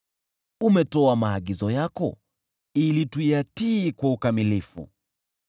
Umetoa maagizo yako ili tuyatii kwa ukamilifu.